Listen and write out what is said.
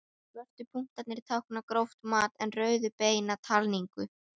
Svörtu punktarnir tákna gróft mat en rauðu beina talningu.